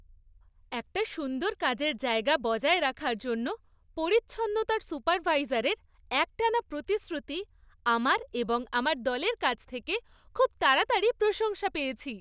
একটা সুন্দর কাজের জায়গা বজায় রাখার জন্য পরিচ্ছন্নতার সুপারভাইজারের একটানা প্রতিশ্রুতি আমার এবং আমার দলের কাছ থেকে খুব তাড়াতাড়িই প্রশংসা পেয়েছে।